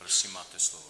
Prosím, máte slovo.